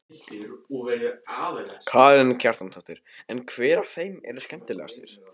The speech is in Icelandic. Karen Kjartansdóttir: En hver af þeim er skemmtilegastur?